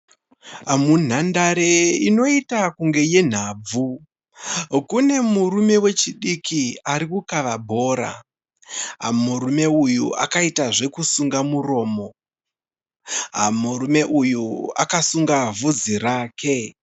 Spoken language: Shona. Munhandare inoita kunge yenhabvu, kune murume wechidiki arikukava bhora. Murume uyu akaita zvekusunga muromo, murume uyu akasunga bvudzi rake.